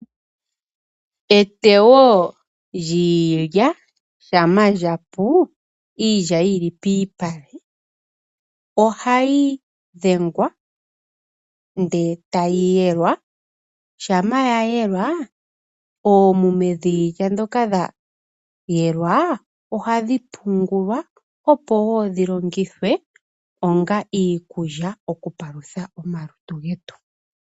Eteyo lyiilya shampa lyapu, iilya yili piipale ohayi dhengwa ndele tayi yelwa shampa ya yelwa oomuma dhiilya ndhoka dha yelwa ohadhi pungulwa opo woo dhi longithwe onga iikulya okupalutha omalutu getu.